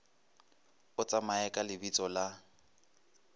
o tsamaye ka lebitso la